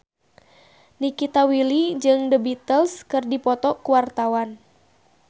Nikita Willy jeung The Beatles keur dipoto ku wartawan